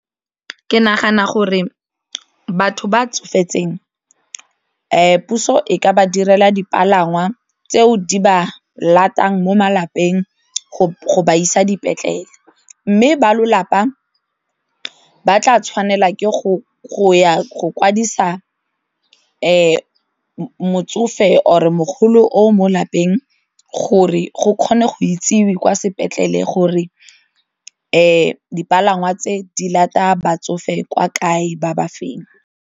Ke nagana gore batho ba tsofetseng puso e ka ba direla dipalangwa tseo di ba latang mo malapeng go ba isa dipetlele mme ba lelapa ba tla tshwanela ke go ya go kwadisa motsofe or mogolo o mo lapeng gore go kgone go itsiwe kwa sepetlele gore dipalangwa tse di lata batsofe kwa kae ba ba feng.